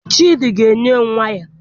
Chidi ga-enye m waya.